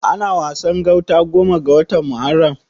Ana Wasan gauta goma ga watan Muharram.